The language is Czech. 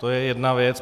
To je jedna věc.